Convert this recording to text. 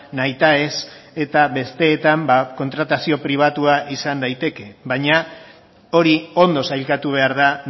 nahitaez eta besteetan kontratazio pribatua izan daiteke baina hori ondo sailkatu behar da